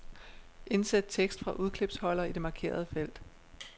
Indsæt tekst fra udklipsholder i det markerede felt.